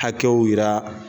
Hakɛw yira